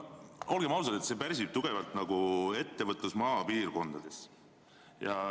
Olgem ausad, see pärsib tugevalt ettevõtlust maapiirkondades.